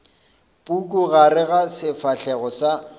puku gare ga sefahlego sa